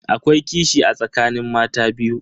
Akwai kishi a tsakanin mata biyu.